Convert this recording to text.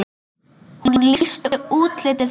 Hún lýsti útliti þeirra.